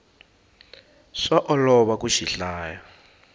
swa olova ku xi hlaya